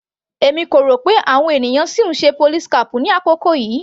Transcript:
Èmi kò rò pé àwọn ènìyàn sì ń ṣe police cap ní àkókò yìí.